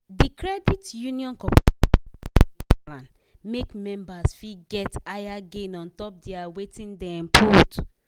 d credit union cooperative savings plan make members fit get higher gain on top their wetin dem put